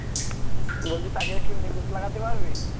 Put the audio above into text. বলছি তাকে একটু news লাগাতে পারবে